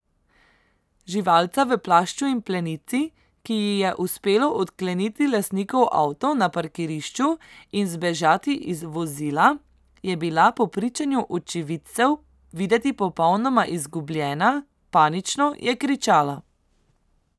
Živalca v plašču in plenici, ki ji je uspelo odkleniti lastnikov avto na parkirišču in zbežati iz vozila, je bila po pričanju očividcev videti popolnoma izgubljena, panično je kričala.